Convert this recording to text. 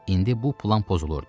İndi bu plan pozulurdu.